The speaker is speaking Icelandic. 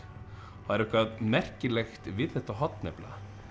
það er eitthvað merkilegt við þetta horn nefnilega